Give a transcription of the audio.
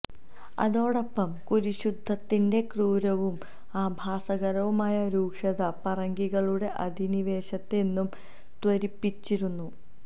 അതോടൊപ്പം കുരിശുയുദ്ധത്തിന്റെ ക്രൂരവും ആഭാസകരവുമായ രൂക്ഷത പറങ്കികളുടെ അധിനിവേശത്തെ എന്നും ത്വരിപ്പിച്ചിരുന്നു